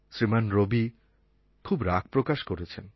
শ্রীমান রবি খুব রাগ প্রকাশ করেছেন